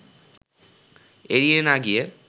এড়িয়ে না গিয়ে